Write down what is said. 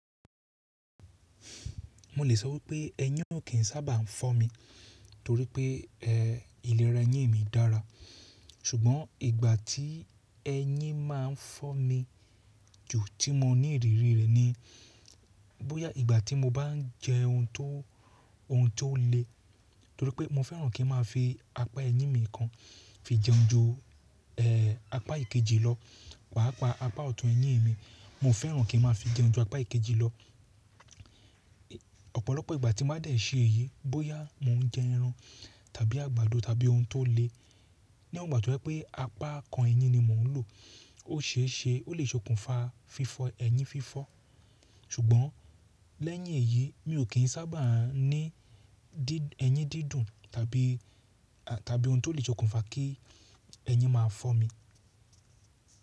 Mo lè sọ wípé ẹyín ò kín sábà ń fọ́ mi torí pé ìlera ẹyín mi dára. Ṣùgbọ́n ìgbà tí ẹyin má ń fọ́ mi jù tí mo ní ìrírí rẹ̀ ni bóyá ìgbà tí mo bá ń jẹ oun tó le torí pé mo fẹ́ràn kí n má fi apá ẹyín mi kan fi jẹun ju apá ìkejì lọ. Paapá ọ̀tún ẹyín mi, mo fẹ́ràn kí n má fi jẹun ju apá ìkejì lọ. Ọ̀pọ̀lọpọ̀ ìgbà tí máa dẹ̀ ṣé èyí, bóyá mò ń jẹ ẹran tàbí àgbàdo tàbí oun tó le, níwọ̀n ìgbà tí wípé apá kan ẹyín ni mò ń lò, ó ṣe é ṣe ó lè sokùnfa fífọ ẹyín fífọ́. Ṣùgbọ́n lẹ́yìn èyí mi ò kín sábà ní ẹyín dídùn tàbí oun tó lè sokùnfa kí ẹyin máa fọ́ mi.